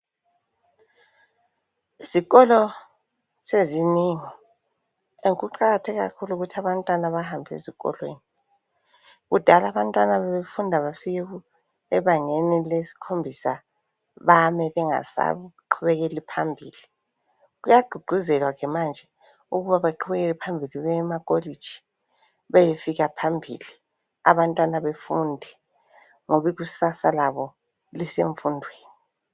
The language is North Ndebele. Izikolo sezinengi, ende kuqakathekile kakhulu ukuthi abantwana bahambe ezikolweni. Kudala abantu babefunda bafike ebangeni leskhombisa bame bengasa qhubekeli phambili. kuyagqugquzelwa ke manje ukuba baqhubekele phambili baye ema kolitshi. Bayefika phambili, abantwana befunde ngoba ikusasa labo lise mfundweni.